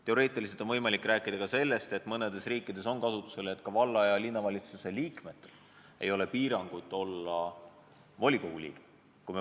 Teoreetiliselt on võimalik rääkida ka sellest, mis mõnes riigis on kasutusel, et valla- ja linnavalitsuse liikmel ei ole volikogu liikmeks olemise piirangut.